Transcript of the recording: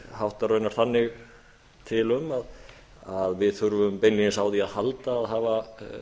háttar raunar þannig til um að við þurfum beinlínis á því að halda að hafa